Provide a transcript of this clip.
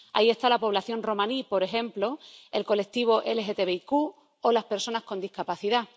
Ahí está la población romaní, por ejemplo, el colectivo LGTBIQ o las personas con discapacidad.